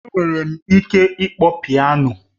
Enwere m ike ịkpọ Piano